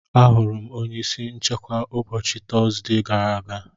Ahụrụ m onye isi nchekwa ụbọchị Tọzdee gara aga.